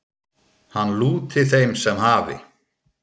Hann lúti þeim sem hafi